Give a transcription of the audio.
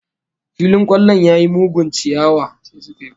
Filin kwallon ya yi mugun chiyawa